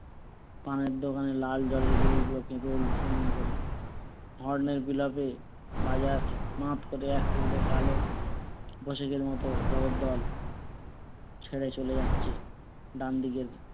লাল গাড়ির horn এর বিলাপে বাজার মাত করে এক টুকরো কালো মতো জগদ্দল ছেড়ে চলে যাচ্ছে ডানদিকের